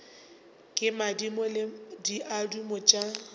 ke madimo le diaduma tša